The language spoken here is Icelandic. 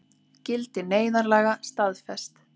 Gildi neyðarlaga staðfest